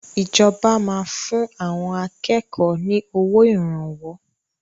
Ìjọba máa fún àwọn akẹ́kọ̀ọ́ ni owó Ìrànwọ́